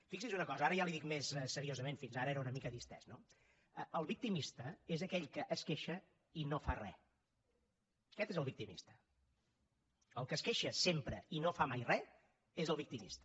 fixi’s una cosa ara ja li ho dic més seriosament fins ara era una mica distès no el victimista és aquell que es queixa i no fa re aquest és el victimista el que es queixa sempre i no fa mai re és el victimista